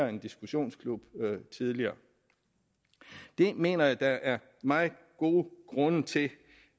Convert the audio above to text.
en diskussionsklub tidligere jeg mener der er meget gode grunde til